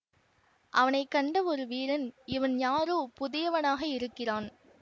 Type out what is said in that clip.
அவனை கண்ட ஒரு வீரன் இவன் யாரோ புதியவனாக இருக்கிறான்